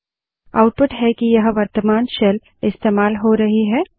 यह आउटपुट है कि वर्तमान शेल इस्तेमाल हो रही है